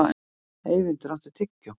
Eyvindur, áttu tyggjó?